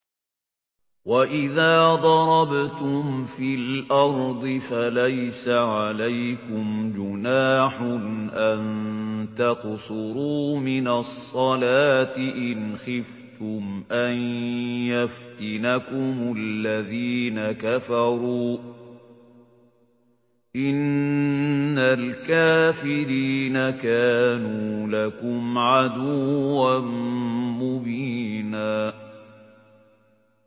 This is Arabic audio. وَإِذَا ضَرَبْتُمْ فِي الْأَرْضِ فَلَيْسَ عَلَيْكُمْ جُنَاحٌ أَن تَقْصُرُوا مِنَ الصَّلَاةِ إِنْ خِفْتُمْ أَن يَفْتِنَكُمُ الَّذِينَ كَفَرُوا ۚ إِنَّ الْكَافِرِينَ كَانُوا لَكُمْ عَدُوًّا مُّبِينًا